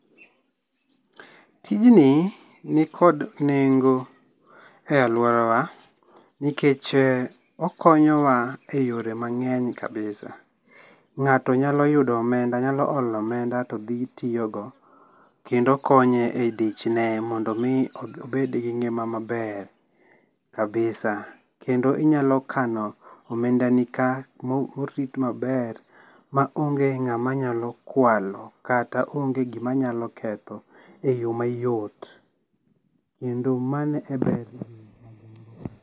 Tijni ni kod nengo e aluorawa nikech okonyowa e yore mang'eny kabisa, ng'ato nyalo yudo omenda nyalo olo omenda to dhi tiyo go kendo konye e dichne mondo mi obed gi ngima maber kabisa kendo inyalo kano omenda ni kaa morit maber ma onge ng'ama nyalo kwalo kata onge gima nyalo ketho e yo mayot kendo mano e berne.